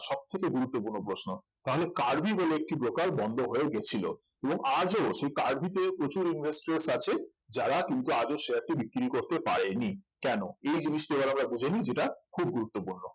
সবথেকে গুরুত্বপূর্ণ প্রশ্ন তাহলে কার্ভি বলে একটি broker বন্ধ হয়ে গেছিল এবং আজও সেই কার্ভিতে প্রচুর investor আছে যারা কিন্তু আজও share টি বিক্রি করে পারেনি কেন এই জিনিসটা এবার আমরা বুঝে নেই যেটা খুব গুরুত্বপূর্ণ